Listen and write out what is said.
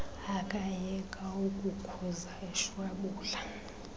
akayeka ukukhuza eshwabula